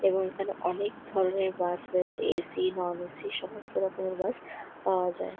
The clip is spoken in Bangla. এবং এইখানে অনকে ধরণের বাস রয়েছে এসি ননএসি সমস্ত রকমের বাস পাওয়া যায়।